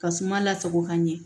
Ka suma lasago ka ɲɛ